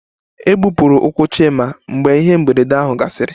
E gbupụrụ ụkwụ Chima mgbe ihe mberede ahụ gasịrị